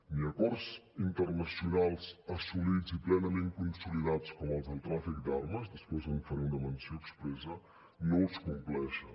ni acords internacionals assolits i plenament consolidats com els del tràfic d’armes després en faré una menció expressa no els compleixen